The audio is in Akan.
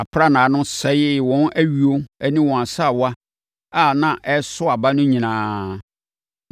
Aprannaa no sɛee wɔn ayuo ne wɔn asaawa a na ɛreso aba no nyinaa.